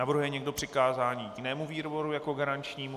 Navrhuje někdo přikázání jinému výboru jako garančnímu?